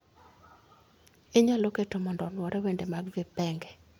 Inyalo keto mondo onuore wende mag vipengee